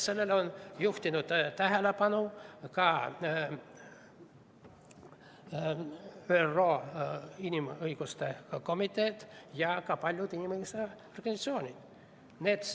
Sellele on juhtinud tähelepanu ka ÜRO Inimõiguste Komitee ja ka paljud inimõigusorganisatsioonid.